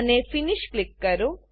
અને finish click કરો